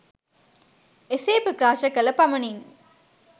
එසේ ප්‍රකාශ කළ පමණින්